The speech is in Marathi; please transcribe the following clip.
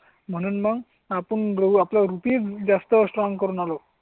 म्हणून मग आपण बोलू आपलं रुपये जास्त स्ट्रॉंग करून आलो.